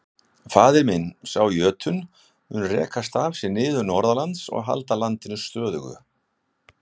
Faðir minn, sá jötunn, mun reka staf sinn niður norðanlands og halda landinu stöðugu.